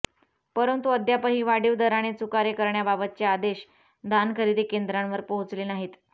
परंतु अद्यापही वाढीव दराने चुकारे करण्याबाबतचे आदेश धान खरेदी केंद्रावर पोहचले नाहीत